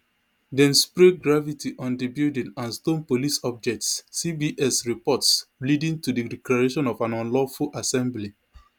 dem spray graffiti on di building and stone police objects cbs reports leading to di declaration of an unlawful assembly